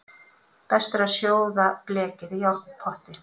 Best er að sjóða blekið í járnpotti.